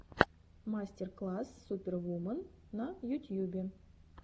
мастер класс супервумен на ютьюбе